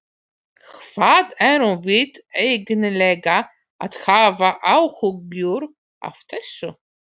Hvað erum við eiginlega að hafa áhyggjur af þessu?